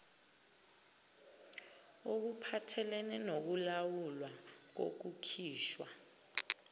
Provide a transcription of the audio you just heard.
okuphathelene nokulawulwa kokukhishwa